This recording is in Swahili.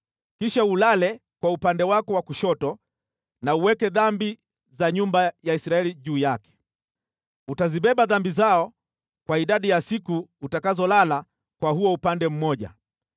“Kisha ulale kwa upande wako wa kushoto na uweke dhambi za nyumba ya Israeli juu yake. Utazibeba dhambi zao kwa idadi ya siku utakazolala kwa huo upande mmoja.